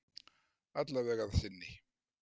Alla vega að sinni